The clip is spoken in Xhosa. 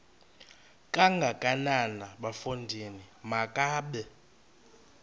kangakanana bafondini makabe